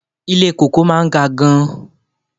Ilé kòkó máa ga gan-an.